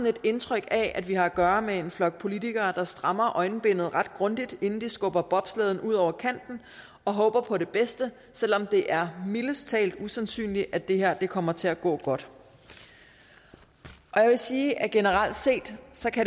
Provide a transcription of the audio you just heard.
et indtryk af at vi har at gøre med en flok politikere der strammer øjenbindet ret grundigt inden de skubber bobslæden ud over kanten og håber på det bedste selv om det er mildest talt usandsynligt at det her kommer til at gå godt jeg vil sige at det generelt set